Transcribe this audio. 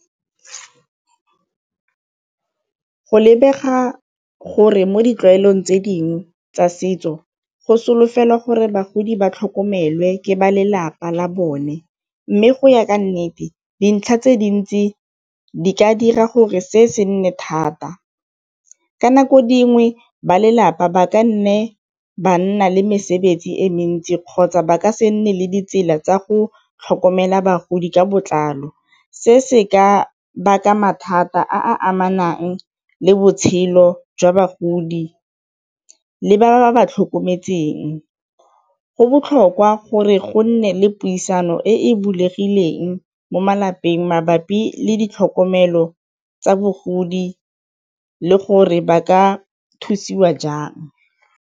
Go lebega gore mo ditlwaelong tse dingwe tsa setso go solofela gore bagodi ba tlhokomelwe ke ba lelapa la bone, mme go ya ka nnete dintlha tse dintsi di ka dira gore se se nne thata. Ka nako dingwe ba lelapa ba ka nne ba nna le mesebetsi e mentsi kgotsa ba ka se nne le ditsela tsa go tlhokomela bagodi ka botlalo, se se ka baka mathata a a amanang le botshelo jwa bagodi le ba ba ba ba tlhokometseng. Go botlhokwa gore go nne le puisano e bulegileng mo malapeng mabapi le ditlhokomelo tsa bogodi le gore ba ka thusiwa jang.